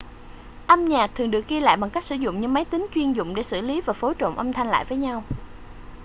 âm nhạc thường được ghi lại bằng cách sử dụng những máy tính chuyên dụng để xử lý và phối trộn âm thanh lại với nhau